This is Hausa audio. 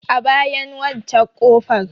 A bayan waccen ƙofar.